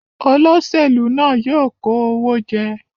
Oloṣelu náà yoo kò òwò jẹ